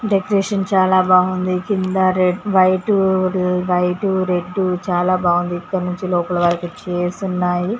Decoration చాలా బాగుంది కింద వైట్ రెడ్డు చాలా బాగుంది ఇక్కడ నుండి లోపల వరకు చైర్స్ ఉన్నాయి .